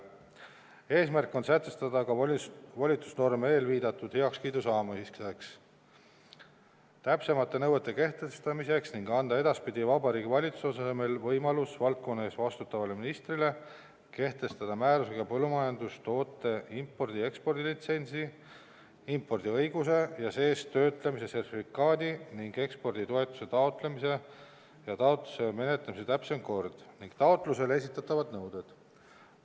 Eesmärk on sätestada ka volitusnorm eelviidatud heakskiidu saamiseks, täpsemate nõuete kehtestamiseks ning anda edaspidi Vabariigi Valitsuse asemel võimalus valdkonna eest vastutavale ministrile kehtestada määrusega põllumajandustoote impordi- ja ekspordilitsentsi, impordiõiguse ja seestöötlemise sertifikaadi ning eksporditoetuse taotlemise ja taotluse menetlemise täpsem kord ning taotlusele esitatavad nõuded.